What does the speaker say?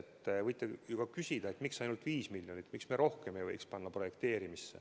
Te võite küsida, miks ainult 5 miljonit, miks me rohkem ei võiks panna projekteerimisse.